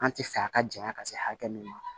An ti fɛ a ka janya ka se hakɛ min ma